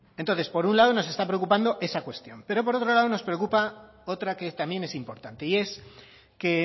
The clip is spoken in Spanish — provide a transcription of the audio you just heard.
entonces por un lado nos está preocupando esta cuestión pero por otro lado nos preocupa otra que también es importante y es que